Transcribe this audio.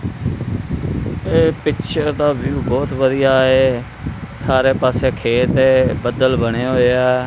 ਇਹ ਪਿਕਚਰ ਦਾ ਵਿਊ ਬਹੁਤ ਵਧੀਆ ਹੈ ਸਾਰੇ ਪਾੱਸੇ ਖੇਤ ਹੈ ਬੱਦਲ ਬਣੇ ਹੋਇਆ।